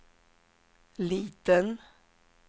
liten